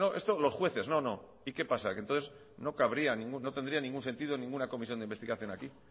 esto los jueces no no y qué pasa que entonces no cabría no tendría ningún sentido ninguna comisión de investigación aquí